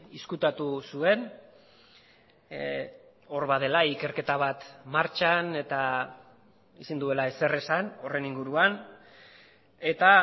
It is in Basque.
ezkutatu zuen hor badela ikerketa bat martxan eta ezin duela ezer esan horren inguruan eta